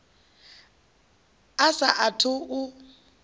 a sa a thu u